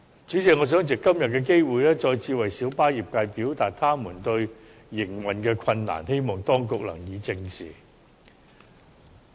主席，我想藉着今天的機會，再次為小巴業界表達其面對的營運困難，希望當局正視。